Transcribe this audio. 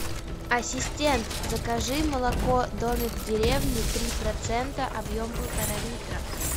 ассистент закажи молоко домик в деревне три процента объем полтора литра